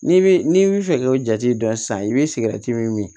N'i bi n'i bɛ fɛ k'o jate dɔn sisan i bɛ sigɛriti min min